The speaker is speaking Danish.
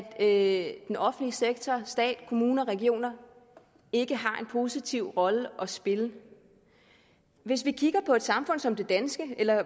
at den offentlige sektor stat kommuner og regioner ikke har en positiv rolle at spille hvis vi kigger på et samfund som det danske eller